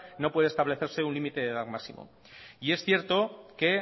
no puede establecerse un límite de edad máximo y es cierto que